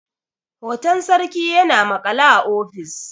hoton sarki yana maƙale a ofis